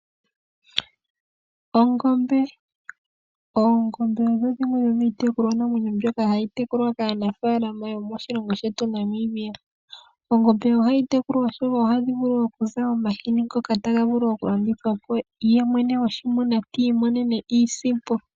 Ongombe. Oongombe odho dhimwe dhomiitekulwa namwenyo mbyoka hayi munwa kaanafaalama yomoshilongo shetu Namibia. Oongombe ohadhi munwa oshoka ohadhi vulu okuza omahini ngoka taga vulu okulandithwa po yemwene goongombe ti imonene iisimpo.